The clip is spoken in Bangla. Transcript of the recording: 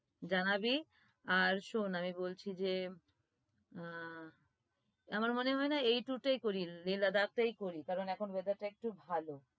জানাবি আর শোন বলছি যে আহ আমার মনে হয় এই tour টাই করি Leh Ladakh টাই করি কারন এখন weather টা একটু ভালো।